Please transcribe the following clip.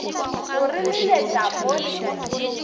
go re leletša mo letšatšing